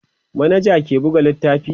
manaja ke buga littafi